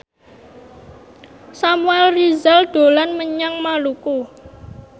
Samuel Rizal dolan menyang Maluku